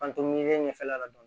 An to miiri ne ɲɛfɛla la dɔɔnin